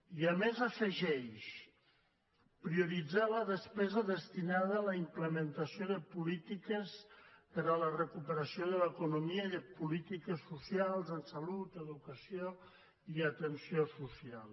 i a més afegeix prioritzar la despesa destinada a la implementació de polítiques per a la recuperació de l’economia i de polítiques socials en salut educació i atenció social